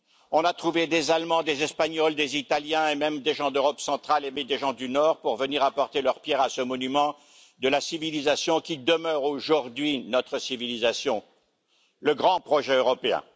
On a trouvé des Allemands, des Espagnols, des Italiens et même des gens d'Europe centrale et du Nord, pour venir apporter leur pierre à ce monument de la civilisation qui demeure aujourd'hui notre civilisation, le grand projet européen.